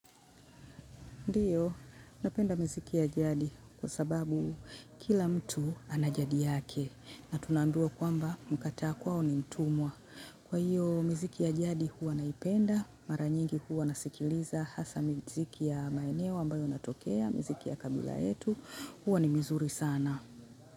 Ndio napenda miziki ya jadi, kwa sababu kila mtu ana jadi yake, na tunaambiwa kwamba mkataa kwao ni mtumwa kwa hiyo, miziki ya jadi huwa naipenda, mara nyingi huwa nasikiliza, hasa miziki ya maeneo ambayo natokea, miziki ya kabila yetu, huwa ni mizuri sana.